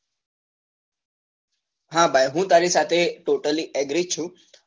હા ભાઈ હું તારી સાથે totally agree છું